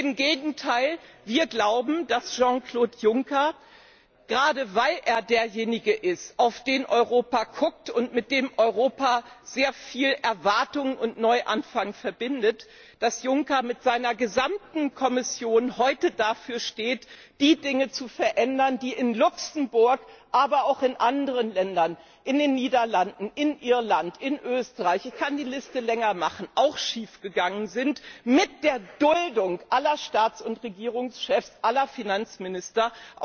Im Gegenteil Wir glauben, dass Jean Claude Juncker, gerade weil er derjenige ist, auf den Europa schaut und mit dem Europa sehr viel Erwartungen und einen Neuanfang verbindet, mit seiner gesamten Kommission heute dafür steht, die Dinge zu verändern, die in Luxemburg, aber auch in anderen Ländern, in den Niederlanden, in Irland, in Österreich ich kann die Liste länger machen schief gegangen sind, auch mit der Duldung aller Staats und Regierungschefs und aller Finanzminister.